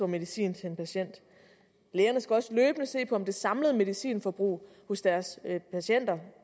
medicin til en patient lægerne skal også løbende se på om det samlede medicinforbrug hos deres patienter